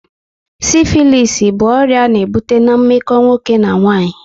Sifilisi bụ ọrịa a na-ebute na meko nwoke na nwaanyị